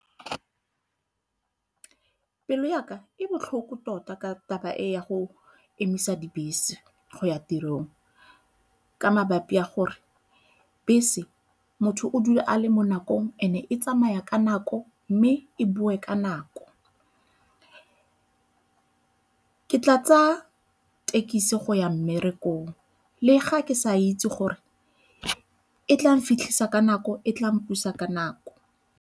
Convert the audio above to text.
Pelo ya ka e botlhoko tota ka taba e ya go emisa dibese go ya tirong ka mabapi a gore bese motho o dula a le mo nakong and-e e tsamaya ka nako ko mme e boe ka nako. Ke tla tsaya thekisi go ya mmerekong le ga ke sa itse gore e tla mfitlhisa ka nako, e tla mpusa ka nako.